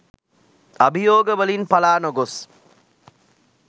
අභියෝග වලින් පළා නොගොස්